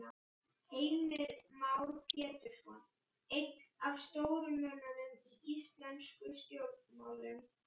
Heimir Már Pétursson: Einn af stóru mönnunum í íslenskum stjórnmálum?